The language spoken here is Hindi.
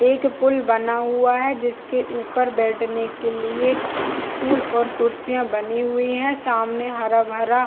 एक पूल बना हुआ है जिसके ऊपर बैठने के लिए स्टूल और कुर्सियाँ बनी हुई है सामने हरा - भरा --